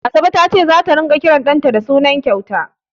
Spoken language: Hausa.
Asabe ta ce zata ringa kiran ɗanta da suna kyauta.